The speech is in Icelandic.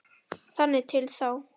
Þangað til þá.